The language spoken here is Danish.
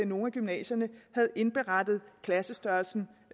nogle af gymnasierne havde indberettet klassestørrelsen